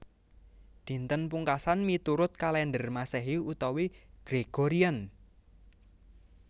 Dinten Pungkasan miturut kalèndher Masehi utawi Gregorian